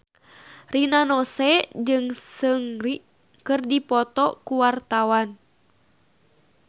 Rina Nose jeung Seungri keur dipoto ku wartawan